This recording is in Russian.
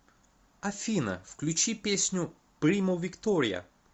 афина включи песню примо виктория